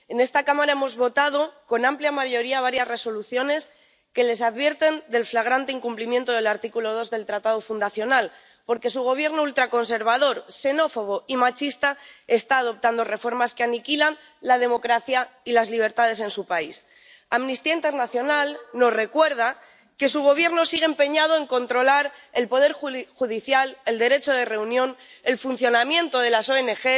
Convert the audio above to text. En esta Cámara hemos aprobado por amplia mayoría varias Resoluciones que les advierten del flagrante incumplimiento del artículo 2 del Tratado fundacional, porque su gobierno ultraconservador, xenófobo y machista está adoptando reformas que aniquilan la democracia y las libertades en su país. Amnistía Internacional nos recuerda que su gobierno sigue empeñado en controlar el poder judicial, el derecho de reunión, el funcionamiento de las ONG,